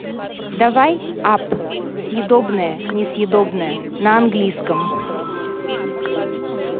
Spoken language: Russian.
давай апп съедобное несъедобное на английском